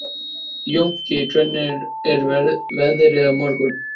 Jónki, hvernig er veðrið á morgun?